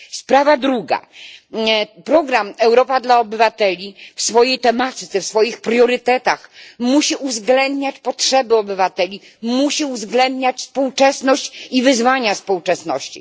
Sprawa druga, program Europa dla obywateli w swojej tematyce, w swoich priorytetach musi uwzględniać potrzeby obywateli, musi uwzględniać współczesność i wyzwania współczesności.